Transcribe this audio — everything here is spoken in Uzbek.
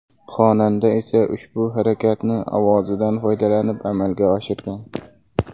Xonanda esa ushbu harakatni ovozidan foydalanib amalga oshirgan.